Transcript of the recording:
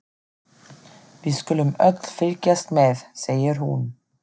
Við skulum öll fylgjast með, segir hún.